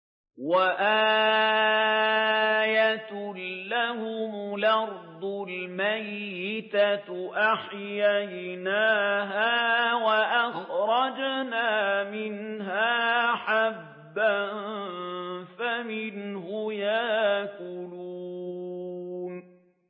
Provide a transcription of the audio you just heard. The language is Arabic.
وَآيَةٌ لَّهُمُ الْأَرْضُ الْمَيْتَةُ أَحْيَيْنَاهَا وَأَخْرَجْنَا مِنْهَا حَبًّا فَمِنْهُ يَأْكُلُونَ